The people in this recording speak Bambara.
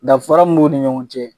Danfara mun b'u ni ɲɔgɔn cɛ